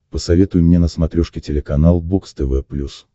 посоветуй мне на смотрешке телеканал бокс тв плюс